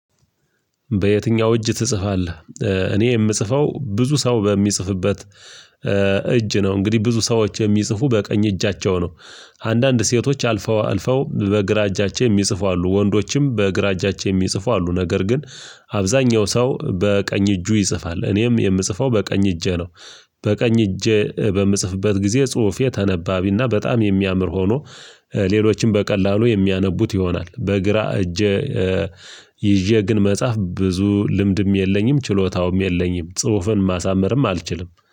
በየትኛው እጅ ትጽፋለህ? እኔ የምጽፈው ብዙ ሰው በሚጽፍበት እጅ ነው እንግዲህ ብዙ ሰዎች የሚጽፉ በቀኝ እጃቸው ነው አንዳንድ ሴቶች አልፈው አልፈው በግራ እጃቸው የሚጽፉ አሉ ወንዶችም በግራ እጃቸው የሚጽፉ አሉ ነገር ግን አብዛኛው ሰው በቀኝ እጁ ይጽፋል እኔም የምጽፈው በቀኝ እጄ ነው። በቀኝ እጄ በምጽፍበት ጊዜ ጽሁፌ ተነባቢ እና በጣም የሚያምር ሆኖ ሌሎችም በቀላሉ የሚያነቡት ይሆናል በግራ እጀ ይዤ ግን መጽሐፍ ብዙ ልምድም የለኝም ችሎታውም የለኝም ጽሁፍን ማሳመርም አልችልም።